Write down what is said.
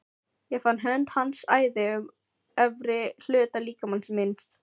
Ég fann hönd hans æða um efri hluta líkama míns.